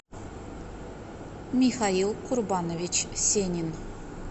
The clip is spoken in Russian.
михаил курбанович сенин